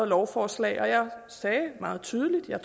lovforslag og jeg sagde meget tydeligt at